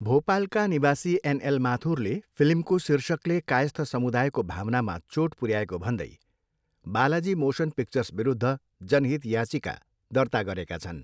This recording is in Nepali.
भोपालका निवासी एनएल माथुरले फिल्मको शीर्षकले कायस्थ समुदायको भावनामा चोट पुर्याएको भन्दै बालाजी मोसन पिक्चर्सविरुद्ध जनहित याचिका दर्ता गरेका छन्।